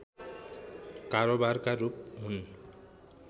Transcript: कारोबारका रूप हुन्